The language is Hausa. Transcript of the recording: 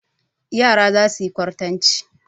Yara za su yi kwartanci.